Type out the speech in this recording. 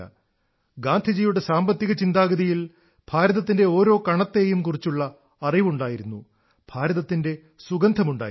ഗാന്ധിജിയുടെ സാമ്പത്തിക ചിന്താഗതിയിൽ ഭാരതത്തിന്റെ ഓരോ കണത്തെയും കുറിച്ചുള്ള അറിവുണ്ടായിരുന്നു ഭാരതത്തിന്റെ സുഗന്ധമുണ്ടായിരുന്നു